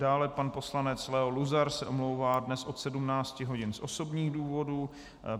Dále pan poslanec Leo Luzar se omlouvá dnes od 17 hodin z osobních důvodů.